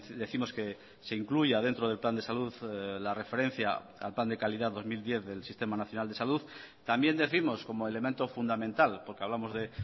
décimos que se incluya dentro del plan de salud la referencia al plan de calidad dos mil diez del sistema nacional de salud también décimos como elemento fundamental porque hablamos de